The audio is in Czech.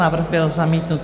Návrh byl zamítnut.